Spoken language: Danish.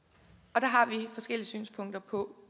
og der har vi forskellige synspunkter på